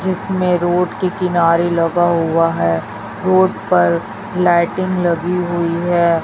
जिसमें रोड के किनारे लगा हुआ है रोड पर लाइटिंग लगी हुई है।